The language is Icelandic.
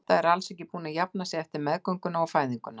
Edda er alls ekki búin að jafna sig eftir meðgönguna og fæðinguna.